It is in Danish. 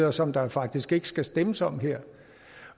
og som der faktisk ikke skal stemmes om her